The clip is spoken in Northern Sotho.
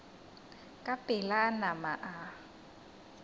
ka pela a nama a